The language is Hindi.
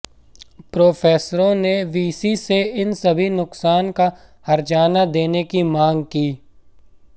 प्रफेसरों ने वीसी से इन सभी नुकसान का हर्जाना देने की मांग की